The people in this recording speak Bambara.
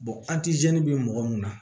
an ti mɔgɔ mun na